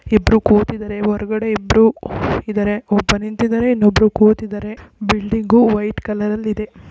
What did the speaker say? ಇಬ್ಬರು ಕೂತಿದರೆ ಹೊರಗಡೆ ಇಬ್ರುಇದಾರೆ ಒಬ್ರು ನಿಂತಿದ್ದಾರೆ ಇನ್ನೊಬ್ರು ಕೂತಿದ್ದಾರೆ ಬಿಲ್ಡಿಂಗ್ ವೈಟ್ ಕಲರ ಲ್ಲಿದೆ.